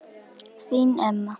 Þín Emma.